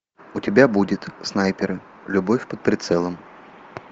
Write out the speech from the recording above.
у тебя будет снайперы любовь под прицелом